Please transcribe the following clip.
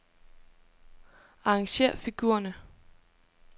Arrangér figurerne.